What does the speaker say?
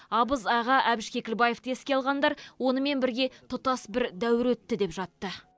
абыз аға әбіш кекілбаевты еске алғандар онымен бірге тұтас бір дәуір өтті деп жатты